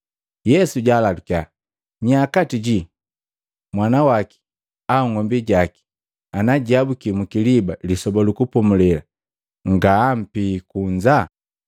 Ndi Yesu jaalalukia, “Nya kati jii mwanawaki au ng'ombi jaki ana jiabuki mukiliba Lisoba lu Kupomulela ngaampie kunza?”